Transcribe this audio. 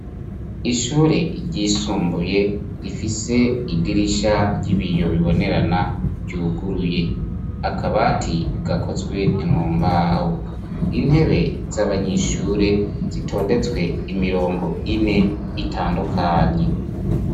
Ishure ryisumbuye rifise idirisha ry'ibiyo bibonerana ryuguruye. Akabati gakozwe mu mbaho, intebe z'abanyeshure zitondetswe imirongo ine itandukanye.